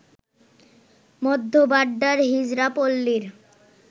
মধ্য বাড্ডার হিজড়া পল্লীর